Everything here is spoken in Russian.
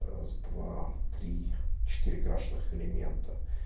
раз два три четыре крашеных элемента